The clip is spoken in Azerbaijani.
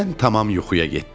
Mən tamam yuxuya getdim.